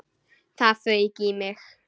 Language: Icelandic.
Það fauk í mig.